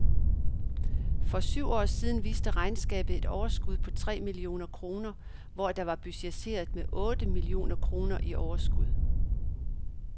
For syv år siden viste regnskabet et overskud på tre millioner kroner, hvor der var budgetteret med otte millioner kroner i overskud.